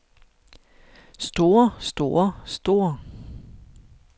store store store